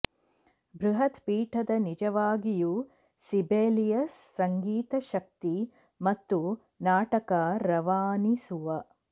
ಬೃಹತ್ ಪೀಠದ ನಿಜವಾಗಿಯೂ ಸಿಬೆಲಿಯಸ್ ಸಂಗೀತ ಶಕ್ತಿ ಮತ್ತು ನಾಟಕ ರವಾನಿಸುವ